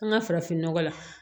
An ka farafinnɔgɔ la